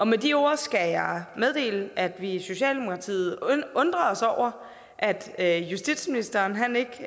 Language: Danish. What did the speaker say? med de ord skal jeg meddele at vi i socialdemokratiet undrer os over at at justitsministeren ikke